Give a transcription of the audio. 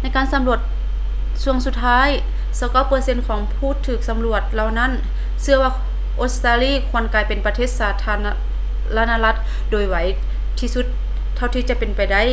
ໃນການສຳຫຼວດຊ່ວງສຸດທ້າຍ 29 ເປີເຊັນຂອງຜູ້ຖືກສຳຫຼວດເຫຼົ່ານັ້ນເຊື່ອວ່າອົດສະຕາລີຄວນກາຍເປັນປະເທດສາທາລະນະລັດໂດຍໄວທີ່ສຸດເທົ່າທີ່ຈະເປັນໄດ້